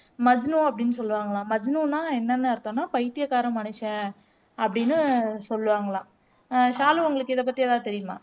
மஜ்னு அப்படின்னு சொல்லுவாங்கலாம் மஜ்னுனா என்னன்னு அர்த்தம்னா பைத்தியக்கார மனுஷன் அப்படின்னு சொல்லுவாங்கலாம் ஆஹ் ஷாலு உங்களுக்கு இதை பத்தி ஏதாவது தெரியுமா